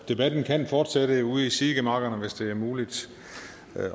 debatten kan fortsætte ude i sidegemakkerne hvis det er muligt